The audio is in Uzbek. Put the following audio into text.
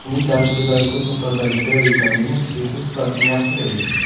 Uning tarkibidagi ko‘p miqdordagi D vitamini uyqu sifatini yaxshilaydi.